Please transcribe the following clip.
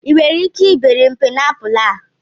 I nwere ike ibere m paịnapụlụ a?